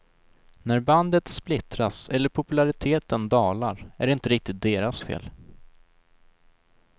När bandet splittras eller populariteten dalar är det inte riktigt deras fel.